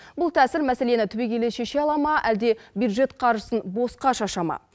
бұл тәсіл мәселені түбегейлі шеше ала ма әлде бюджет қаржысын босқа шаша ма